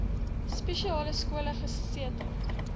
spesiale skole gesetel